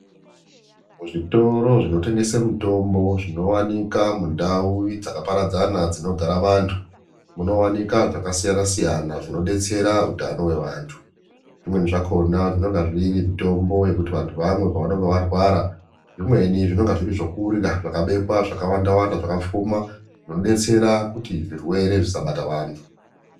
Muzvitoro zvinotengese mitombo zvinowanika mundau dzakaparadzana dzinogara vantu munowanika zvakasiyana siyana zvinodetsera utano hwevantu zvimweni zvakona zvinonga zviri mitombo yekuti vantu vamwe pavanonga varwara zvimweni zvinonga zviri zvekurya zvakabekwa zvakawanda wanda zvakapfuma zvinodetsera kuti zvirere zvisabata vantu.